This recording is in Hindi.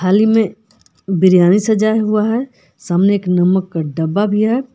थाली मे बिरयानी सजाया हुआ है सामने एक नमक का डब्बा भी है।